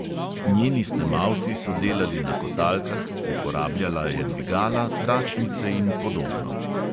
Njeni snemalci so delali na kotalkah, uporabljala je dvigala, tračnice in podobno.